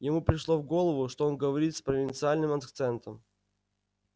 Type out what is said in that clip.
ему пришло в голову что он говорит с провинциальным акцентом